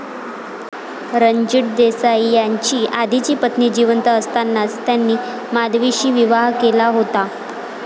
रणजित देसाई यांची आधीची पत्नी जिवंत असतानाच त्यांनी माधवीशी विवाह केला होता.